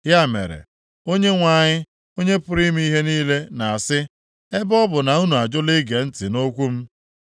Ya mere, Onyenwe anyị, Onye pụrụ ime ihe niile na-asị, “Ebe ọ bụ na unu ajụla ige ntị nʼokwu m.